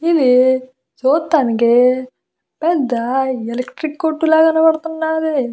ఇది చుట్టానికి పెద్ద ఎలక్ట్రిక్ కొట్టు లాగా కనపడుతున్నది.